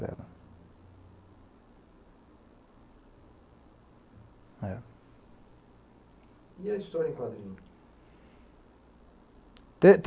E a história em quadrinhos?